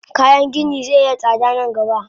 Kayan gini ze iya tsada nan gaba.